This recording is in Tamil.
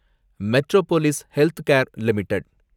Metropolis Healthcare limited